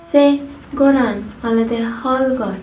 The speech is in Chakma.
sei goran olwdey hall gor.